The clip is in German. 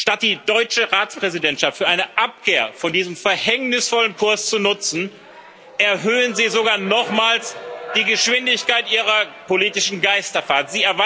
Statt die deutsche Ratspräsidentschaft für eine Abkehr von diesem verhängnisvollen Kurs zu nutzen, erhöhen Sie sogar nochmals die Geschwindigkeit Ihrer politischen Geisterfahrt.